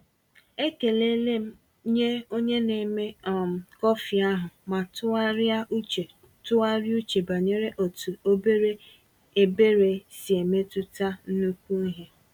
Ekelele m nye onye na-eme um kọfị ahụ ma tụgharịa uche tụgharịa uche banyere otu ebere obere si emetụta nnukwu ihe.